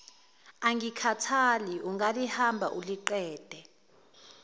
angikhathali ungalihamba uliqede